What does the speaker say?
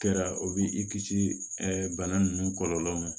Kɛra o b'i kisi bana ninnu kɔlɔlɔ ma